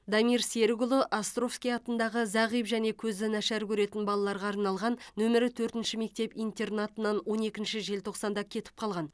дамир серікұлы островский атындағы зағип және көзі нашар көретін балаларға арналған нөмірі төртінші мектеп интернатынан он екінші желтоқсанда кетіп қалған